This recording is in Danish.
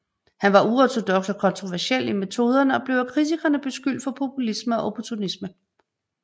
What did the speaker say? Han var uortodoks og kontroversiel i metoderne og blev af kritikere beskyldt for populisme og opportunisme